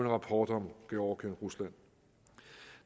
rapport om georgien rusland